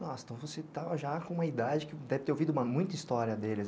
Nossa, então você estava já com uma idade que deve ter ouvido muita história deles.